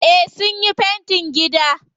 Eh sunyi fentin gida.